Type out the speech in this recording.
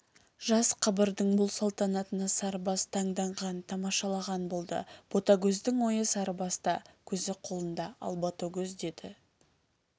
жас қабырдың бұл салтанатына сарыбас таңданған тамашалаған болды ботагөздің ойы сарыбаста көзі қолында ал ботагөз деді